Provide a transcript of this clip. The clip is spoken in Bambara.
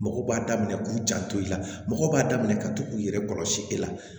Mɔgɔ b'a daminɛ k'u janto i la mɔgɔ b'a daminɛ ka to k'i yɛrɛ kɔlɔsi e la